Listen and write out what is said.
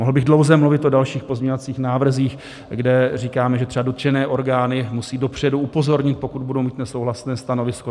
Mohl bych dlouze mluvit o dalších pozměňovacích návrzích, kde říkáme, že třeba dotčené orgány musí dopředu upozornit, pokud budou mít nesouhlasné stanovisko.